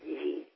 ঠিক ঠিক